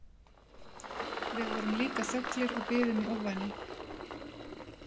Við vorum líka þöglir og biðum í ofvæni.